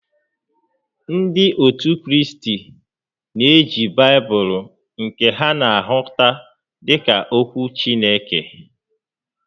Ndị ótù Kraịst na-eji Baịbụlụ nke ha na-ahụta dịka ókwú Chineke